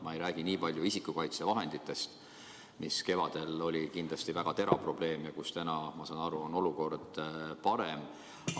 Ma ei räägi niipalju isikukaitsevahenditest, mille puudus kevadel oli kindlasti väga terav probleem, aga mille osas täna, nagu ma aru saan, on olukord parem.